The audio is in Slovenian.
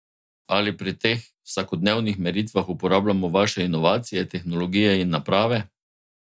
Ali pri teh vsakodnevnih meritvah uporabljamo vaše inovacije, tehnologije in naprave?